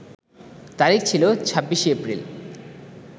তারিখ ছিল ২৬ এপ্রিল